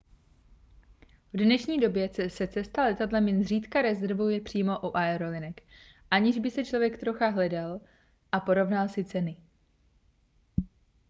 v dnešní době se cesta letadlem jen zřídka rezervuje přímo u aerolinek aniž by člověk trochu hledal a porovnal si ceny